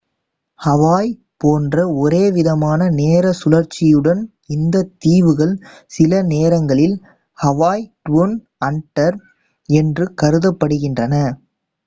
"Hawaii போன்ற ஒரே விதமான நேர சுழற்சியுடன் இந்தத் தீவுகள் சில நேரங்களில் "ஹவாய் ட்வுன் அண்டர்" என்று கருதப்படுகின்றன.